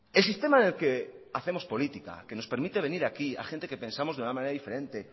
el sistema en el que hacemos política que nos permite venir aquí a gente que pensamos de una manera diferente